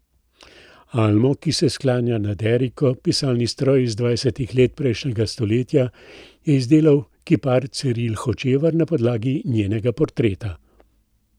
Almo, ki se sklanja nad eriko, pisalni stroj iz dvajsetih let prejšnjega stoletja, je izdelal kipar Ciril Hočevar na podlagi njenega portreta.